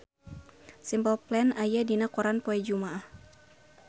Simple Plan aya dina koran poe Jumaah